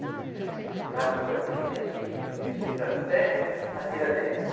Então a gente se pendurava no caminhão e ia subindo, subindo, subindo até a Tiradentes.